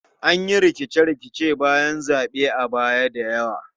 An yi rikice-rikicen bayan zaɓe a baya da yawa.